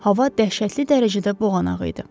Hava dəhşətli dərəcədə boğanaq idi.